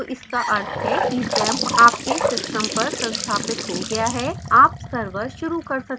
तो इसका अर्थ है कि xampp आपको system पर संस्थापित हो गया है आप service शुरू कर सकते हैं